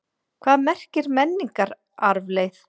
Hvað merkir menningararfleifð?